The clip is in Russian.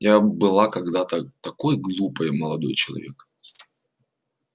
я была когда-то такой глупой молодой человек